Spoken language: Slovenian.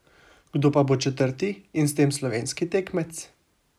Kdo pa bo četrti in s tem slovenski tekmec?